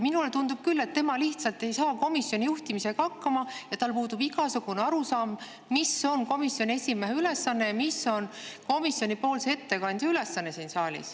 Minule tundub küll, et ta lihtsalt ei saa komisjoni juhtimisega hakkama ja tal puudub igasugune arusaam, mis on komisjoni esimehe ülesanne ja mis on komisjoni ettekandja ülesanne siin saalis.